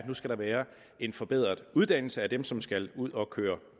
nu skal være en forbedret uddannelse af dem som skal ud at køre